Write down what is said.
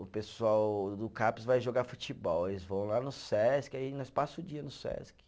O pessoal do Caps vai jogar futebol, eles vão lá no Sesc, aí nós passa o dia no Sesc.